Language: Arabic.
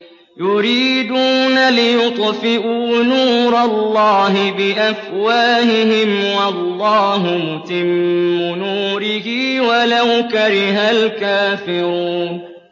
يُرِيدُونَ لِيُطْفِئُوا نُورَ اللَّهِ بِأَفْوَاهِهِمْ وَاللَّهُ مُتِمُّ نُورِهِ وَلَوْ كَرِهَ الْكَافِرُونَ